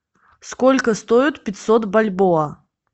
сколько стоит пятьсот бальбоа